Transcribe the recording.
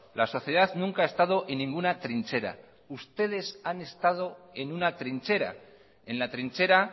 la sociedad nunca ha estado en ninguna trinchera ustedes han estado en una trinchera en la trinchera